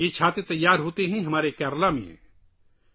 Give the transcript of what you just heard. یہ چھتریاں ہمارے کیرالہ میں تیار کی جاتی ہیں